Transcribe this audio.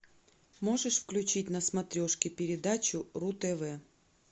можешь включить на смотрешке передачу ру тв